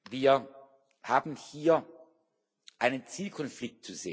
Wir haben hier einen Zielkonflikt.